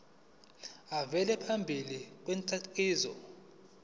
avele phambi kwenkantolo